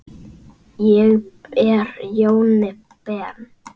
Ég er Jóni Ben.